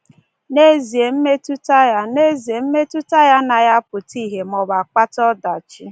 N’ezie, mmetụta ya N’ezie, mmetụta ya anaghị apụta ihe maọbụ akpata ọdachi.